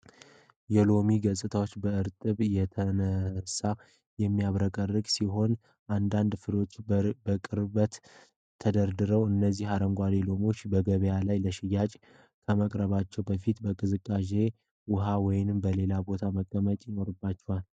የሎሚዎቹ ገጽታ በእርጥበት የተነሳ የሚያብረቀርቅ ሲሆን አንዳንድ ፍሬዎች በቅርበት ተደርድረዋል። እነዚህ አረንጓዴ ሎሚዎች በገበያ ላይ ለሽያጭ ከመቅረባቸው በፊት በማቀዝቀዣ ውስጥ ወይም በሌላ ቦታ መቀመጥ ይኖርባቸዋል?